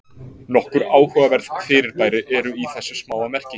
Nokkur áhugaverð fyrirbæri eru í þessu smáa merki.